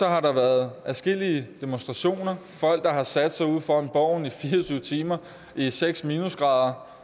har været adskillige demonstrationer folk der har sat sig ude foran borgen i fire og tyve timer i seks minusgrader